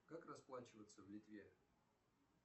как расплачиваться в литве